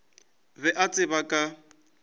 be a ba tseba ka